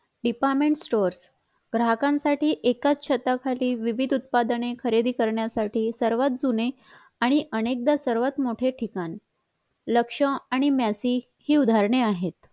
department store गाहकांसाठी एकाच छताखाली विविध उत्पादने खरेदी करण्यासाठी सर्वात जुने आणि अनेकदा सर्वात मोठे ठिकाण लक्ष आणि मेसि हि उदाहरणे आहेत